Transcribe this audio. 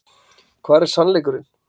Hver er SANNLEIKURINN?